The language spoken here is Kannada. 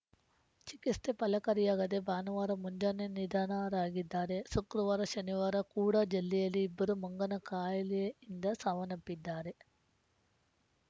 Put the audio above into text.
ಚಿಕಿತ್ಸೆ ಫಲಕಾರಿಯಾಗದೇ ಭಾನುವಾರ ಮುಂಜಾನೆ ನಿಧನರಾಗಿದ್ದಾರೆ ಶುಕ್ರವಾರ ಶನಿವಾರ ಕೂಡ ಜಲ್ಲೆಯಲ್ಲಿ ಇಬ್ಬರು ಮಂಗನ ಕಾಯಿಲೆಯಿಂದ ಸಾವನ್ನಪ್ಪಿದ್ದಾರೆ